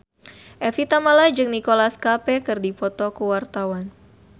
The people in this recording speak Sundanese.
Evie Tamala jeung Nicholas Cafe keur dipoto ku wartawan